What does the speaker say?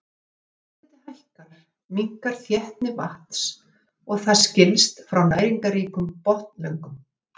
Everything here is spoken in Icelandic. Þegar lofthiti hækkar minnkar þéttni vatns og það skilst frá næringarríkum botnlögum.